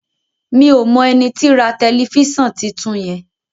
mi'o mọ ẹní tí rà Tẹlifísàn títún yen